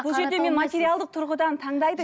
бұл жерде мен материалдық тұрғыдан таңдайды